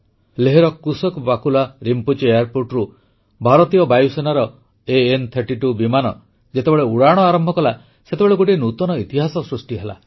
ଲେହର କୁଶୋକ୍ ବାକୁଲା ରିମ୍ପୋଚି ଏୟାରପୋର୍ଟରୁ ଭାରତୀୟ ବାୟୁସେନାର ଇଘ32 ବିମାନ ଯେତେବେଳେ ଉଡ଼ାଣ ଆରମ୍ଭ କଲା ସେତେବେଳେ ଗୋଟିଏ ନୂତନ ଇତିହାସ ସୃଷ୍ଟି ହେଲା